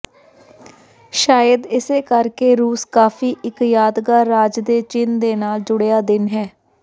ਸ਼ਾਇਦ ਇਸੇ ਕਰਕੇ ਰੂਸ ਕਾਫ਼ੀ ਇੱਕ ਯਾਦਗਾਰ ਰਾਜ ਦੇ ਚਿੰਨ੍ਹ ਦੇ ਨਾਲ ਜੁੜਿਆ ਦਿਨ ਹੈ